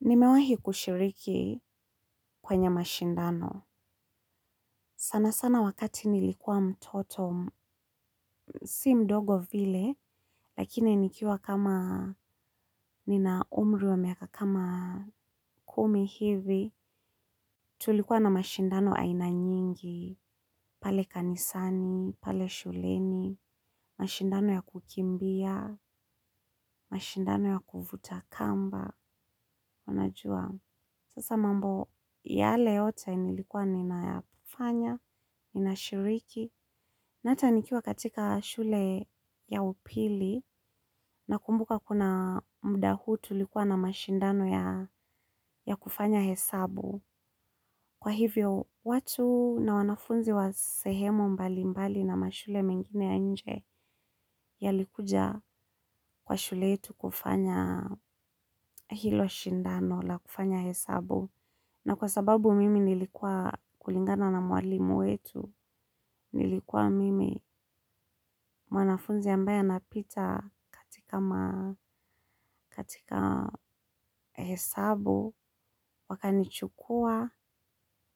Nimewahi kushiriki kwenye mashindano sana sana wakati nilikuwa mtoto, si mdogo vile, lakini nikiwa kama nina umri wa miaka kama kumi hivi. Tulikuwa na mashindano aina nyingi, pale kanisani, pale shuleni, mashindano ya kukimbia, mashindano ya kuvuta kamba, unajua. Sasa mambo yale yote nilikuwa ninayafanya, nina shiriki. Na ata nikiwa katika shule ya upili na kumbuka kuna muda tulikuwa na mashindano ya kufanya hesabu. Kwa hivyo, watu na wanafunzi wa sehemu mbali mbali na mashule mengine ya nje ya likuja kwa shule yetu kufanya hilo shindano la kufanya hesabu. Na kwa sababu mimi nilikuwa kulingana na mwalimu wetu, nilikuwa mimi mwanafunzi ambaye anapita katika hesabu, wakanichukua,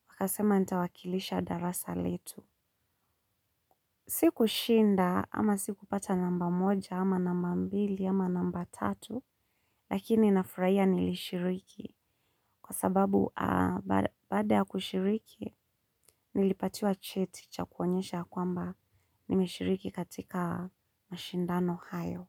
wakasema nitawakilisha darasa letu. Siku shinda ama siku pata namba moja ama namba mbili ama namba tatu lakini na furahia nilishiriki kwa sababu baada ya kushiriki nilipatiwa cheti cha kuonyesha kwamba nimeshiriki katika mashindano hayo.